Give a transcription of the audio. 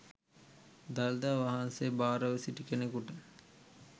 දළදා වහන්සේ භාරව සිටි කෙනෙකුට